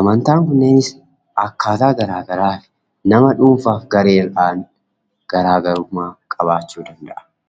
Amantaan kunneenis akkaataa garaa garaaf nama dhuunfaaf gareedhaan garaagarummaa qabaachuu danda'a.